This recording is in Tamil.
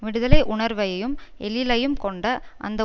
விடுதலையுணர்வையையும் எழிலையும் கொண்ட அந்த